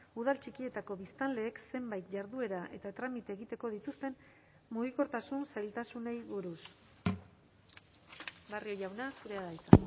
udal txikietako biztanleek zenbait jarduera eta tramite egiteko dituzten mugikortasun zailtasunei buruz barrio jauna zurea da hitza